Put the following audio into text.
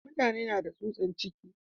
Mutane na da tsutsan ciki.